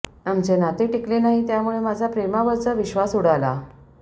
आमचे नाते टिकले नाही त्यामुळे माझा प्रेमावरचा विश्वास उडाला